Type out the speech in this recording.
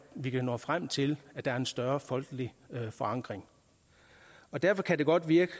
vi kan nå frem til at der er en større folkelig forankring derfor kan det godt virke